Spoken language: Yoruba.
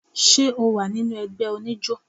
ṣe ọ wa ni ẹgbẹ onijo?